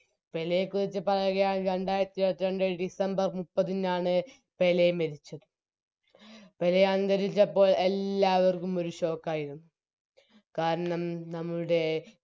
പേലെക്കുറിച്ച് പറയുകയാണെങ്കില് രണ്ടാരത്തിരുപത്രണ്ട് December മുപ്പതിനാണ് പെലെ മരിച്ച് പെലെ അന്തരിച്ചപ്പോൾ എല്ലാവർക്കും ഒരു Shock ആയിരുന്നു കാരണം നമ്മുടെ